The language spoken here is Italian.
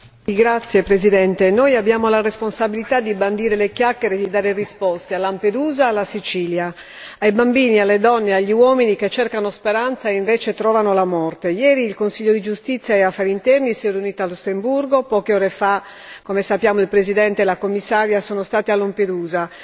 Signora Presidente, onorevoli colleghi, noi abbiamo la responsabilità di bandire le chiacchiere e di dare risposte a Lampedusa e alla Sicilia, ai bambini, alle donne e agli uomini che cercano speranza e invece trovano la morte. Ieri, il Consiglio di giustizia e affari interni si è riunito a Lussemburgo, poche ore fa come sappiamo il Presidente e la Commissaria sono stati a Lampedusa.